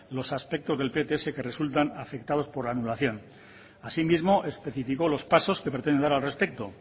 los aspectos del pts que resultan afectados por la anulación así mismo especificó los pasos que pretenden dar al respecto